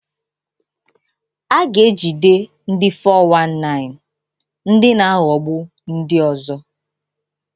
A ga-ejide ndi 419 (ndị na-aghọgbu ndị ọzọ).